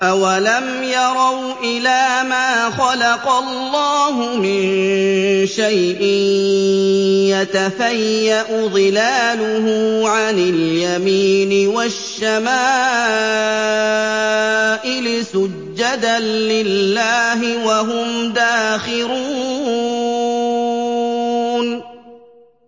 أَوَلَمْ يَرَوْا إِلَىٰ مَا خَلَقَ اللَّهُ مِن شَيْءٍ يَتَفَيَّأُ ظِلَالُهُ عَنِ الْيَمِينِ وَالشَّمَائِلِ سُجَّدًا لِّلَّهِ وَهُمْ دَاخِرُونَ